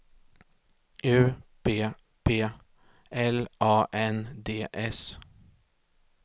U P P L A N D S